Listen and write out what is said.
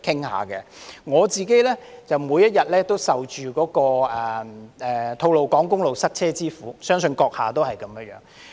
我每天都受吐露港公路塞車之苦，相信閣下也一樣。